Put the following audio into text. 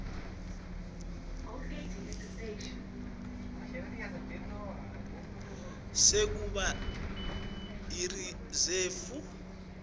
sekuba yirizefu yemaphoyisa